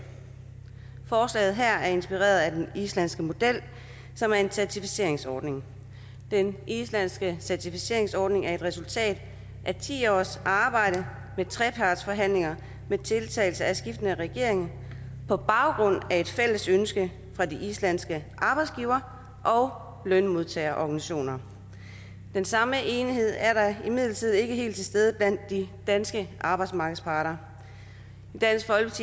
forslaget her er inspireret af den islandske model som er en certificeringsordning den islandske certificeringsordning er et resultat af ti års arbejde med trepartsforhandlinger med deltagelse af skiftende regeringer på baggrund af et fælles ønske fra de islandske arbejdsgiver og lønmodtagerorganisationer den samme enighed er imidlertid ikke helt til stede blandt de danske arbejdsmarkedsparter